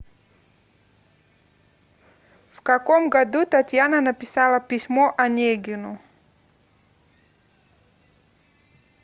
в каком году татьяна написала письмо онегину